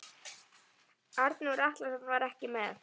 Arnór Atlason var ekki með.